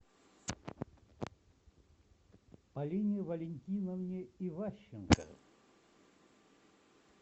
полине валентиновне иващенко